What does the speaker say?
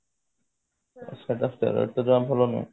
ସବୁ steroids ଜମା ଭଲ ନୁହଁ